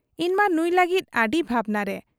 ᱤᱧᱢᱟ ᱱᱩᱸᱭ ᱞᱟᱹᱜᱤᱫ ᱟᱹᱰᱤ ᱵᱷᱟᱵᱽᱱᱟᱨᱮ ᱾